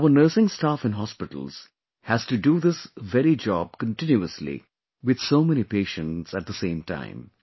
But our nursing staff in hospitals has to do this very job continuously, with so many patients at the same time